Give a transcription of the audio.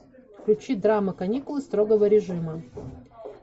включи драма каникулы строго режима